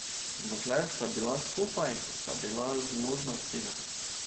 Dokler sta bila skupaj, sta bila zmožna vsega.